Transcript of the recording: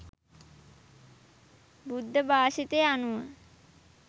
බුද්ධ භාෂිතය අනුව